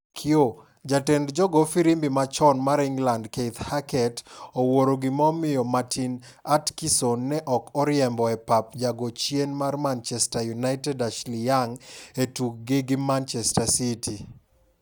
(kiyoo) Jatend jogoo firimbi machon mar England Keith Hackett wuoro gima omiyo Martin Atkinson ne ok oriembo e pap ja goo chien mar Manchester United Ashley Young e tug gi gi Manchester City.